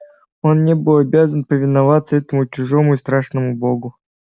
он не был обязан повиноваться этому чужому и страшному богу